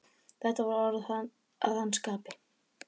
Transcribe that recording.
Þetta voru orð að hans skapi.